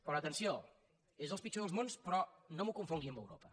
però atenció és el pitjor dels mons però no m’ho confongui amb europa